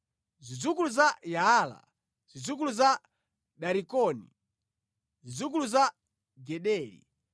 zidzukulu za Yaala, zidzukulu za Darikoni, zidzukulu za Gideli,